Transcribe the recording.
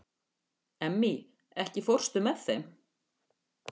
Emmý, ekki fórstu með þeim?